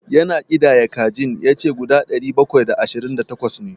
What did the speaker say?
Ya na ƙidaya kajin, ya ce guda ɗari bakwai da ashirin da takwas ne.